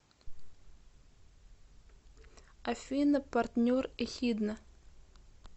афина партнер эхидна